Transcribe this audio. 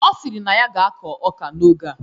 Ọ sịrị na ya ga-akọ ọka n'oge a